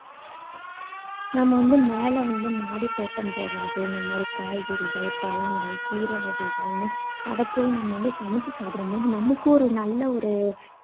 நம்ம வந்து மேல வந்து மாடித்தோட்டம் போடறது. இந்த மாதிரி காய்கறிகள், பழங்கள், கீரை வகைகள்னு அதை போய் நம்ம வந்து சமைச்சு சாப்பிடற போது நமக்கு ஒரு நல்ல ஒரு